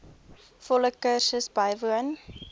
volle kursus bywoon